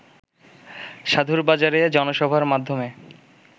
সাধুর বাজারে জনসভার মাধ্যমে